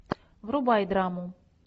врубай драму